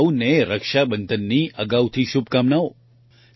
આપ સૌને રક્ષાબંધનની અગાઉથી શુભકામનાઓ